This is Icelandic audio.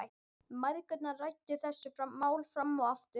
Mæðgurnar ræddu þessi mál fram og aftur.